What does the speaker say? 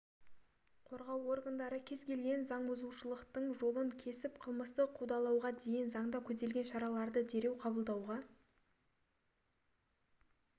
қорғау органдары кез келген заңбұзушылықтың жолын кесіп қылмыстық қудалауға дейін заңда көзделген шараларды дереу қабылдауға